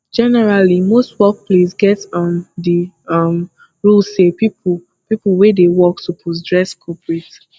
generally most workplace get um di um rule sey pipo pipo wey dey work suppose dress corprate